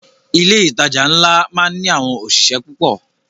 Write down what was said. Ilé ìtajà ńlá máá ń ní àwọn òṣìṣẹ́ púpọ̀